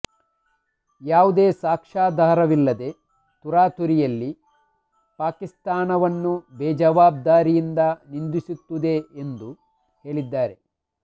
ಯಾವುದೇ ಸಾಕ್ಷ್ಯಾಧಾರವಿಲ್ಲದೆ ತರಾತುರಿಯಲ್ಲಿ ಪಾಕಿಸ್ತಾನವನ್ನು ಬೇಜವಾಬ್ದಾರಿಯಿಂದ ನಿಂದಿಸುತ್ತಿದೆ ಎಂದು ಹೇಳಿದ್ದಾರೆ